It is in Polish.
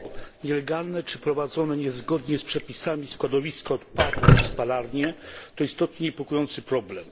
Nielegalne czy prowadzone niezgodnie z przepisami składowiska odpadów i spalarnie to istotnie niepokojący problem.